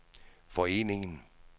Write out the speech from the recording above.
foreningen